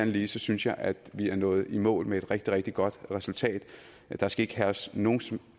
lige synes jeg at vi er nået i mål med et rigtig rigtig godt resultat der skal ikke herske nogen